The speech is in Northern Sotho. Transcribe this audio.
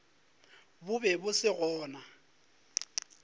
bo be bo se gona